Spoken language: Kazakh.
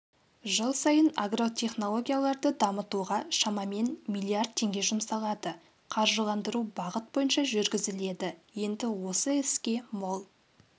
жыл сайын агротехнологияларды дамытуға шамамен миллиард теңге жұмсалады қаржыландыру бағыт бойынша жүргізіледі енді осы іске мол